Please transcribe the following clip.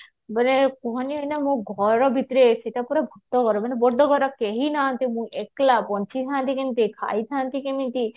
ବୋଲେ ଲୋକମାନେ ଏଇନା ମୋ ଘର ଭିତରେ ବଡ ଘର କେହି ନାହାନ୍ତି ମୁଁ ଏକେଲା ବଞ୍ଚିଥାନ୍ତି କେମିତେ ଖାଇଥାନ୍ତି କେମିତେ